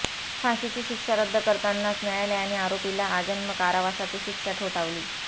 फाशीची शिक्षा रद्द करतानाच न्यायालयाने आरोपीला आजन्म कारावासाची शिक्षा ठोठावली